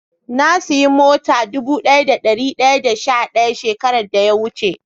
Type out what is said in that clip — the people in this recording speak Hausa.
Na siya mata dubu daya da dari daya da sha daya shekaran da ya wuce.